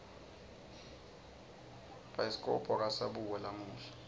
bhayiskobho akasabukwa lamuhla